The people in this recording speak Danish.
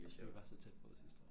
Vi var så tæt på sidste år